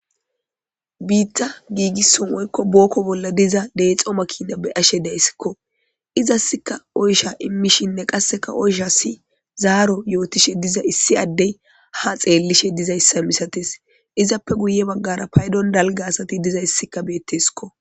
Bitta gigisso bolla woyikko book bolla diza dexo makina be'ashshe de'yssikko izasika oysha ha imishshenne qas oyshashisi zaaro imishshe dizayissa issi adey ha xelishshe dizayssa masates izappekka guye baggara payidon dariza asatikka dizayissi beettesikko